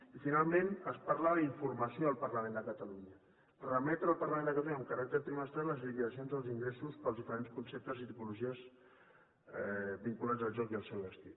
i finalment es parla d’informació al parlament de catalunya remetre al parlament de catalunya amb caràcter trimestral les liquidacions dels ingressos pels diferents conceptes i tipologies vinculats al joc i al seu destí